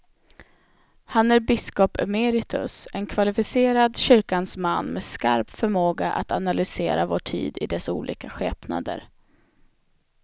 Han är biskop emeritus, en kvalificerad kyrkans man med skarp förmåga att analysera vår tid i dess olika skepnader.